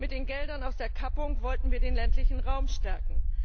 Mit den Geldern aus der Kappung wollten wir den ländlichen Raum stärken.